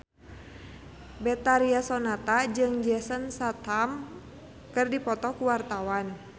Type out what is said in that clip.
Betharia Sonata jeung Jason Statham keur dipoto ku wartawan